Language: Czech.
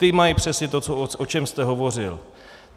Ty mají přesně to, o čem jste hovořil.